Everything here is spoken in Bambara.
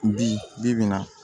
Bi bi in na